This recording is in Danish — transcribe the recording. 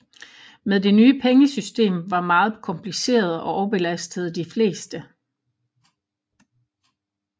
Men det nye pengesystem var meget kompliceret og overbelastede de fleste